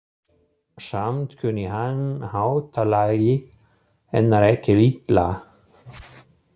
Samt kunni hann háttalagi hennar ekki illa.